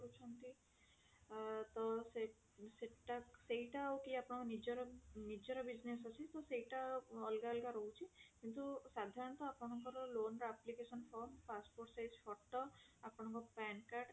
ତ ସେ ସେଟା ସେଇଟା ହୋଉ କି ଆପଣଙ୍କର ନିଜର ନିଜର business ଅଛି ତ ସେଇଟା ଅଲଗା ଅଲଗା ରହୁଛି କିନ୍ତୁ ସାଧାରଣତ ଆପଣଙ୍କର loan ର application form passport size photo ଆପଣଙ୍କ pan card